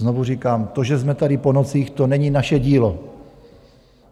Znovu říkám, to, že jsme tady po nocích, to není naše dílo.